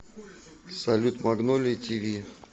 салют магнолия ти ви